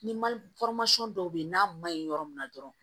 Ni mali dɔw bɛ yen n'a ma ɲi yɔrɔ min na dɔrɔn